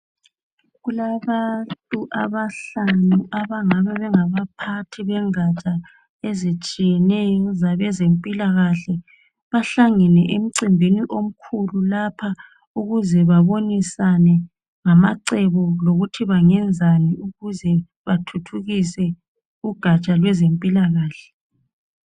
Kulabantu abahlanu abangabe bengabaphathi bengatsha ezitshiyeneyo zabezempilakahle. Bahlangene emcimbini omkhulu lapha ukuze babonisane ngamacebo lokuthi bangenzani ukuze bathuthukise ugatsha lwezempilakahle.